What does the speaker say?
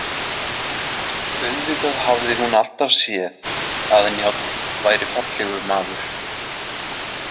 Auðvitað hafði hún alltaf séð að Njáll væri fallegur maður.